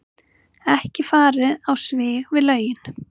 Ekki farið á svig við lögin